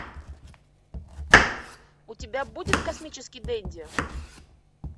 у тебя будет космический денди